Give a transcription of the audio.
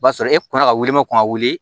O b'a sɔrɔ e kɔnna ka wuli ma kɔn ka wuli